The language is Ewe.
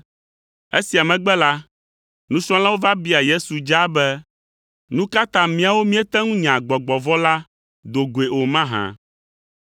Esia megbe la, nusrɔ̃lawo va bia Yesu dzaa be, “Nu ka ta míawo míete ŋu nya gbɔgbɔ vɔ̃ la do goe o mahã?”